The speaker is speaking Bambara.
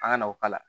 An ka na o k'a la